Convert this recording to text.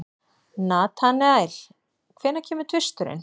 Natanael, hvenær kemur tvisturinn?